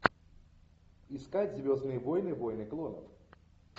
искать звездные войны войны клонов